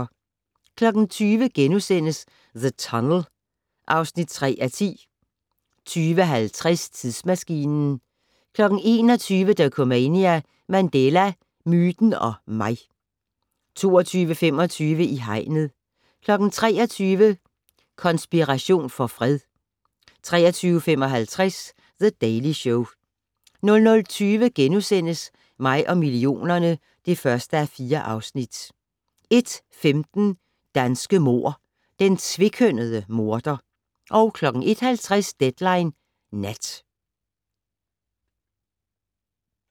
20:00: The Tunnel (3:10)* 20:50: Tidsmaskinen 21:00: Dokumania: Mandela - myten og mig 22:25: I hegnet 23:00: Konspiration for fred 23:55: The Daily Show 00:20: Mig og millionerne (1:4)* 01:15: Danske mord: Den tvekønnede morder 01:50: Deadline Nat